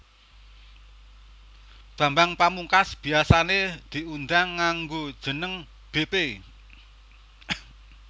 Bambang Pamungkas biasané diundang nganggo jeneng bépé